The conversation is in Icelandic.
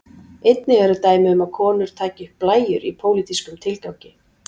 einnig eru dæmi um að konur taki upp blæjur í pólitískum tilgangi